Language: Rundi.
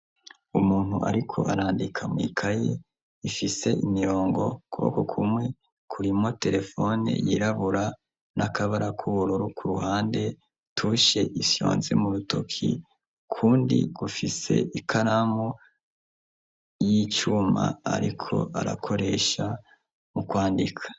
umuntu ariko arandika mw'ikayi ifise imirongo kuboko kumwe kurimwo terefone yirabura n'akabara k'ubururu ku ruhande tushe ifyonze mu rutoki kundi gufise ikaramu y'icuma ariko arakoresha mu kwandika